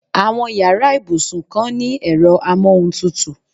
Àwọn yàrá ibusuykan ni ẹ̀rọ amóhuntutù.